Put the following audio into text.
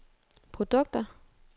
produkter